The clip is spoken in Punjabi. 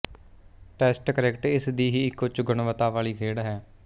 ਟੈਸਟ ਕ੍ਰਿਕਟ ਇਸ ਦੀ ਹੀ ਇੱਕ ਉੱਚਗੁਣਵਤਾ ਵਾਲੀ ਖੇਡ ਹੈ